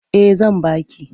Eh zan ba ki.